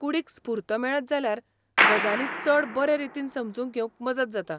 कूडीक स्फूर्त मेळत जाल्यार गजाली चड बरे रीतीन समजून घेवंक मजत जाता.